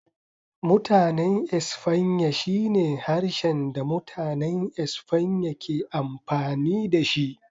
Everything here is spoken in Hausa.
Mutanen Espanya shine harshen da Mutanen Espanya ke amfani da shi.